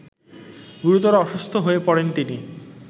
গুরুতর অসুস্থ হয়ে পড়েন তিনি